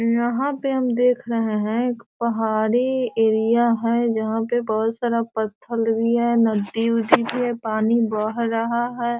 यहां पे हम देख रहे हैं एक पहाड़ी एरिया है जहां पर बहुत सारा पत्थर भी है नदी उदी भी है पानी बह रहा है।